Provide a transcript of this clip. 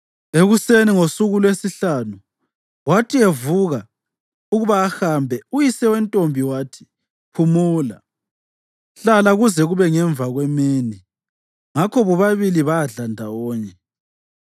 Ekuseni ngosuku lwesihlanu, wathi evuka ukuba ahambe, uyise wentombi wathi, “Phumula. Hlala kuze kube ngemva kwemini.” Ngakho bobabili badla ndawonye.